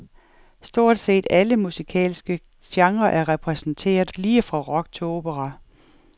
Stort set alle musikalske genrer er repræsenteret lige fra rock til opera.